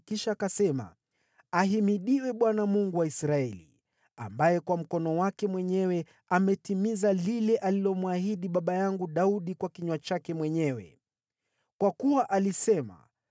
Kisha akasema: “Ahimidiwe Bwana , Mungu wa Israeli, ambaye kwa mkono wake mwenyewe ametimiza lile alilomwahidi Daudi baba yangu kwa kinywa chake mwenyewe. Kwa kuwa alisema,